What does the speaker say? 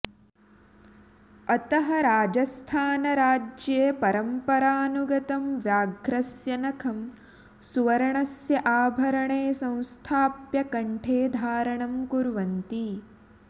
अतः राजस्थानराज्ये परम्परानुगतं व्याघ्रस्य नखं सुवर्णस्य आभरणे संस्थाप्य कण्ठे धारणं कुर्वन्ति